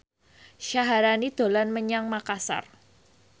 Syaharani dolan menyang Makasar